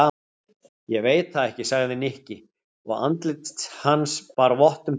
Ég veit það ekki sagði Nikki og andlit hans bar vott um tómleika.